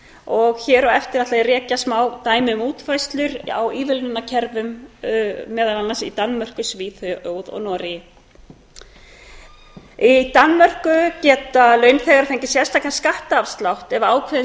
og hér á eftir ætla ég að rekja smá dæmi um útfærslu á ívilnunarkerfum meðal annars í danmörku svíþjóð og noregi í danmörku geta launþegar fengið ákveðinn skattafslátt ef ákveðin